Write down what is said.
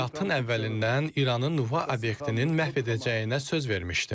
Əməliyyatın əvvəlindən İranın nüvə obyektinin məhv edəcəyinə söz vermişdim.